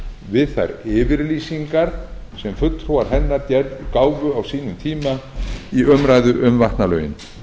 við þær yfirlýsingar sem fulltrúar hennar gáfu á sínum tíma í umræðu um vatnalögin